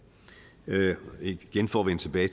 igen for at vende tilbage